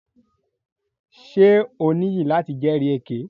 Ṣe o niyi lati jẹri èké?